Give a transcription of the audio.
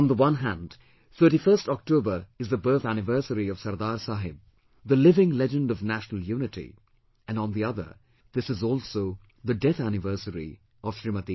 On the one hand, 31st October is the birth anniversary of Sardar Saheb, the living legend of national unity and on the other; this is also the death anniversary of Smt